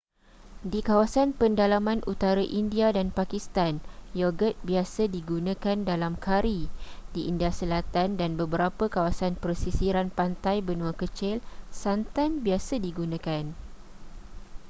di kawasan pendalaman utara india dan pakistan yogurt biasa digunakan dalam kari di india selatan dan beberapa kawasan pesisiran pantai benua kecil santan biasa digunakan